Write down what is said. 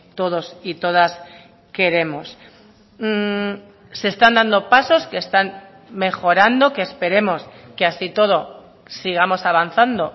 todos y todas queremos se están dando pasos que están mejorando que esperemos que así y todo sigamos avanzando